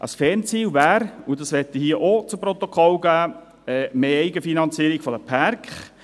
Ein Fernziel wäre – dies möchte ich hier auch zu Protokoll geben – mehr Eigenfinanzierung der Pärke.